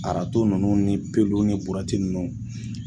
Arato ninnu ni pelu ninnu ni burɛti ninnu